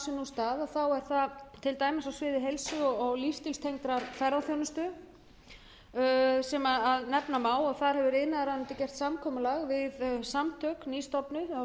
stað er það er það til dæmis á sviði heilsu og lífsstílstengdrar ferðaþjónustan sem nefna má og þar hefur iðnaðarráðuneytið gert samkomulag við samtök nýstofnuð á því sviði það